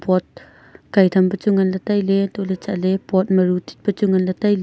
pot kai tham pe chu ngan le taile tohle chatle pot ma ru tit pe chu ngan le taile.